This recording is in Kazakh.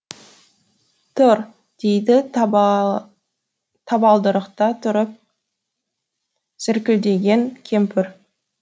тұр дейді табалдырықта тұрып зіркілдеген кемпір